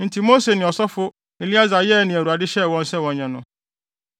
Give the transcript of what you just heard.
Enti Mose ne ɔsɔfo Eleasar yɛɛ nea Awurade hyɛɛ wɔn sɛ wɔnyɛ no.